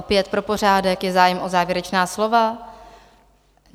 Opět pro pořádek: je zájem o závěrečná slova?